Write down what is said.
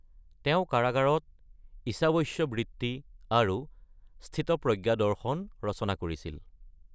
তেওঁ কাৰাগাৰত ঈশাৱস্যবৃত্তি আৰু স্থিতপ্ৰজ্ঞা দৰ্শন ৰচনা কৰিছিল।